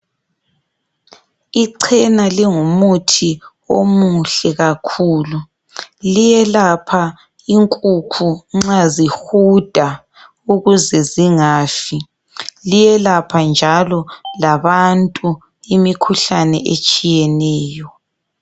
Ichena lingumuthi omuhle kakhulu. Liyelapha inkukhu nxa zihuda ukuze zingafi. Liyelapha njalo labantu imikhuhlane etshiyeneyo.